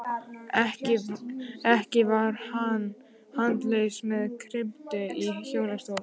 Ekki var hann handalaus með kryppu í hjólastól.